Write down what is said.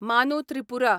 मानू त्रिपुरा